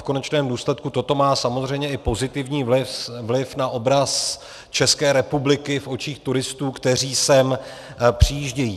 V konečném důsledku toto má samozřejmě i pozitivní vliv na obraz České republiky v očích turistů, kteří sem přijíždějí.